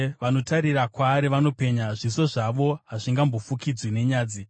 Vanotarira kwaari vanopenya; zviso zvavo hazvingambofukidzwi nenyadzi.